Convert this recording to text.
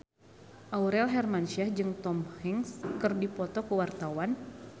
Aurel Hermansyah jeung Tom Hanks keur dipoto ku wartawan